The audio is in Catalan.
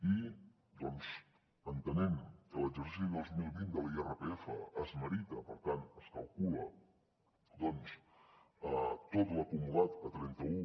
i entenent que l’exercici dos mil vint de l’irpf es merita per tant es calcula tot l’acumulat a trenta un